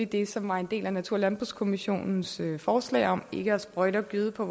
det som var en del af natur og landbrugskommissionens forslag om ikke at sprøjte og gøde på